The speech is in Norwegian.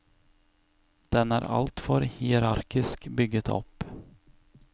Den er altfor hierarkisk bygget opp.